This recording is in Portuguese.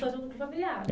familiar.